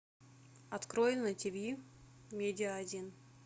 открой на тиви медиа один